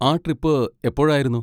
ആ ട്രിപ്പ് എപ്പോഴായിരുന്നു?